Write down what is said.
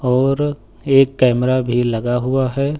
और एक कैमरा भी लगा हुआ है।